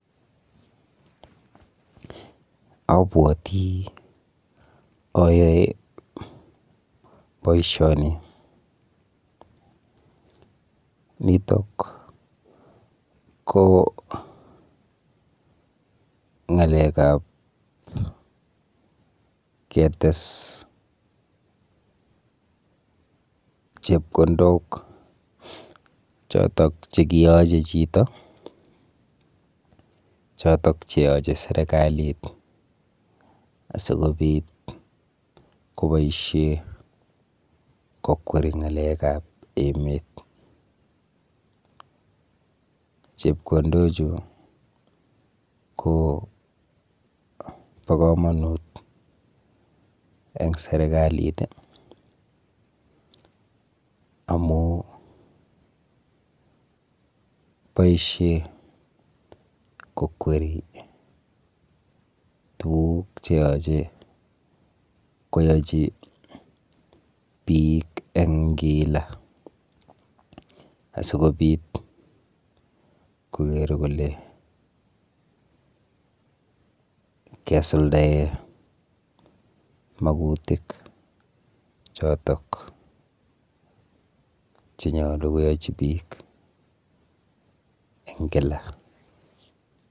Abwoti ayoe boishoni. Nitok ko ng'alekap ketes chepkondok chotok chekiyoche chito chotok cheyoche serikalit kokweri ng'alekap emet. Chepkondochu ko po komonut eng serikalit amu boishe kokweri tuguk cheyoche koyochi biik eng kila asikobit koker kole kesuldae makutik chotok chenyolu koyochi biik eng kila.